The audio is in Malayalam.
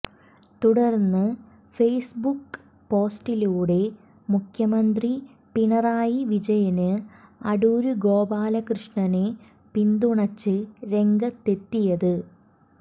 തുടര്ന്ന് ഫെയ്സ്ബുക്ക് പോസ്റ്റിലൂടെയാണ് മുഖ്യമന്ത്രി പിണറായി വിജയന് അടൂര് ഗോപാലകൃഷ്ണനെ പിന്തുണച്ച് രംഗത്തെത്തിയത്